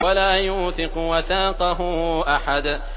وَلَا يُوثِقُ وَثَاقَهُ أَحَدٌ